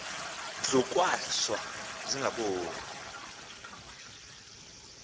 ndlu kwahlwa zingaboni